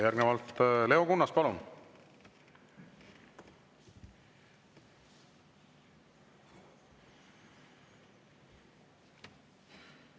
Järgnevalt Leo Kunnas, palun!